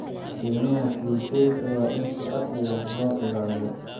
Keymaha duurjoogta waa in si casri ah loo ilaaliyo.